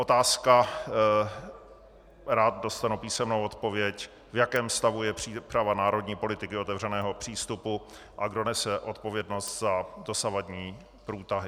Otázka, rád dostanu písemnou odpověď: V jakém stavu je příprava národní politiky otevřeného přístupu a kdo nese odpovědnost za dosavadní průtahy?